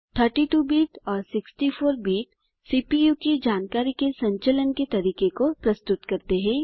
32 bit और 64 bit CPU की जानकारी के संचलन के तरीके को प्रस्तुत करते हैं